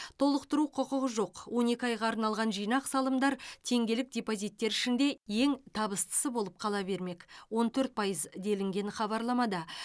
толықтыру құқығы жоқ он екі айға арналған жинақ салымдар теңгелік депозиттер ішінде ең табыстысы болып қала бермек он төрт пайыз делінген хабарламада